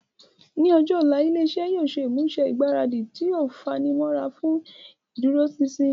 Ní ọjọ́ ọ̀la, ilé iṣẹ́ yóò ṣe ìmúṣe ìgbáradì tó fanimọ́ra fún ìdúróṣinṣin